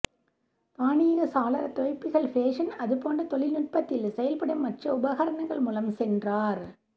தானியங்கு சாளர துவைப்பிகள் ஃபேஷன் அதுபோன்ற தொழில்நுட்பத்தில் செயல்படும் மற்ற உபகரணங்கள் மூலம் சென்றார்